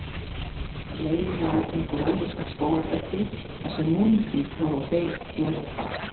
Leiðin lá um gróðursælt skógarbelti þarsem múldýr voru á beit hér og hvar.